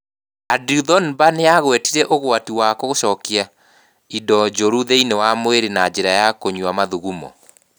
Andrew Thornber nĩ aagwetire ũgwati wa gũcokia indo njũru thĩinĩ wa mwĩrĩ na njĩra ya kũnyua mathugumo.